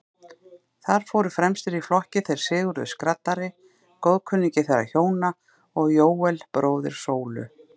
Þar fóru fremstir í flokki þeir Sigurður skraddari, góðkunningi þeirra hjóna, og Jóel, bróðir Sólu.